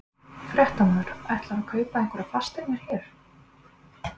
Fréttamaður: Ætlarðu að kaupa einhverjar fasteignir hérna?